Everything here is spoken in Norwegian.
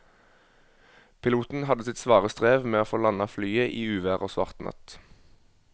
Piloten hadde sitt svare strev med å få landet flyet i uvær og svart natt.